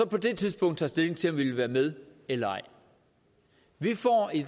på det tidspunkt stilling til om vi vil være med eller ej vi får i